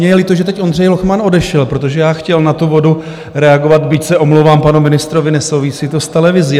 Mně je líto, že teď Ondřej Lochman odešel, protože já chtěl na tu vodu reagovat, byť se omlouvám panu ministrovi, nesouvisí to s televizí.